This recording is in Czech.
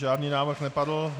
Žádný návrh nepadl.